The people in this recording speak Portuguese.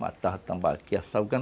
Matava tambaqui, salgando